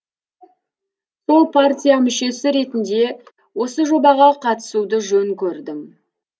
сол партия мүшесі ретінде осы жобаға қатысуды жөн көрдім